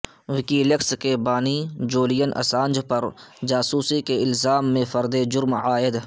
وکی leaks کے بانی Julian Assange پر جاسوسی کے الزام میں فرد جرم عائد